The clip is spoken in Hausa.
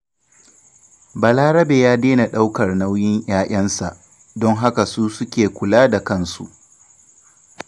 Balarabe ya daina ɗaukar nauyin 'ya'yansa, don haka su suke kula da kansu.